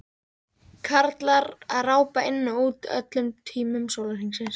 Karlar að rápa inn og út á öllum tímum sólarhrings.